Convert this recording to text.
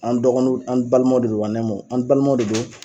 An dɔgɔnu d an balimaw de don an balimaw de don